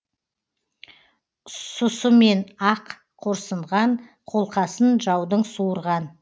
сұсымен ақ қорсынған қолқасын жаудың суырған